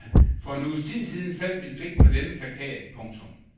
For en uges tid siden faldt mit blik på denne plakat. punktum